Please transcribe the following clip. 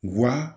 Wa